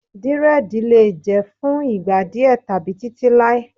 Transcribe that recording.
Dírẹ́díì lè jẹ́ fún ìgbà díè tàbí títí láé.